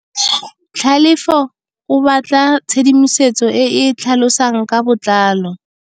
Tlhalefô o batla tshedimosetsô e e tlhalosang ka botlalô.